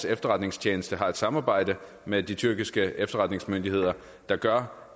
efterretningstjenesten har et samarbejde med de tyrkiske efterretningsmyndigheder der gør